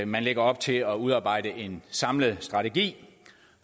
man lægger op til at udarbejde en samlet strategi